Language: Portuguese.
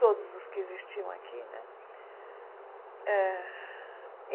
Todos os que existiam aqui, né? Eh